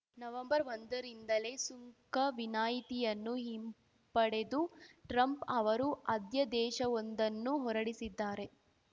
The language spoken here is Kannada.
ನವೆಂಬರ್ಒಂದರಿಂದಲೇ ಸುಂಕ ವಿನಾಯಿತಿಯನ್ನು ಹಿಂಪಡೆದು ಟ್ರಂಪ್‌ ಅವರು ಅಧ್ಯಾದೇಶವೊಂದನ್ನು ಹೊರಡಿಸಿದ್ದಾರೆ